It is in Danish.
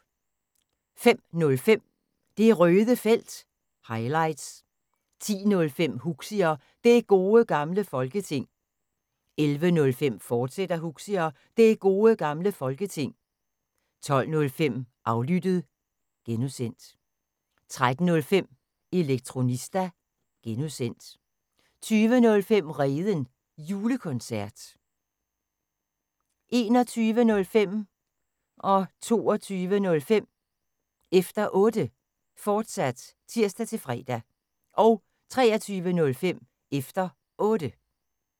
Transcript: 05:05: Det Røde Felt – highlights 10:05: Huxi og Det Gode Gamle Folketing 11:05: Huxi og Det Gode Gamle Folketing, fortsat 12:05: Aflyttet (G) 13:05: Elektronista (G) 20:05: Redens Julekoncert 21:05: Efter Otte, fortsat (tir-fre) 22:05: Efter Otte, fortsat (tir-fre) 23:05: Efter Otte